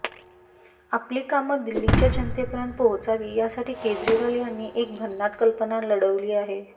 आपली कामं दिल्लीच्या जनतेपर्यंत पोहोचावी यासाठी केजरीवाल यांनी एक भन्नाट कल्पना लढवली आहे